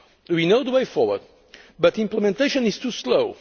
We know the way forward, but implementation is too slow.